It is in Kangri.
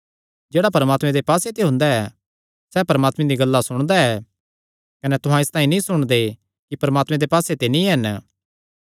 जेह्ड़ा परमात्मे दे पास्से ते हुंदा ऐ सैह़ परमात्मे दियां गल्लां सुणदा ऐ कने तुहां इसतांई नीं सुणदे कि परमात्मे दे पास्से ते नीं हन